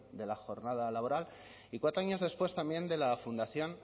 de la jornada laboral y cuatro años después también de la fundación